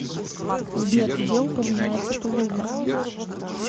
сбер где упоминается тулуза